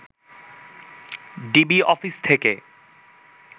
DB office থেকে